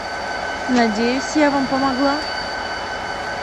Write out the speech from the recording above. надеюсь я вам помогла